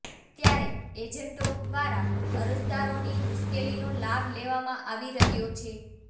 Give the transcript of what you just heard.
ત્યારે એજન્ટો દ્વારા અરજદારોની મુશ્કેલીનો લાભ લેવામાં આવી રહ્યો છે